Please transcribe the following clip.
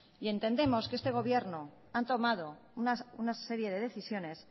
y entendemos que este gobierno ha tomado una serie de decisiones